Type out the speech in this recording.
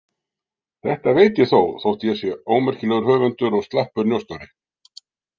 Þetta veit ég þó, þótt ég sé ómerkilegur höfundur og slappur njósnari.